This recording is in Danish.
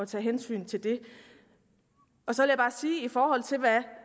tage hensyn til det så